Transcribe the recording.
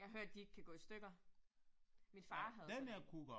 Jeg har hørt, de ikke kan gå i stykker. Min far havde sådan én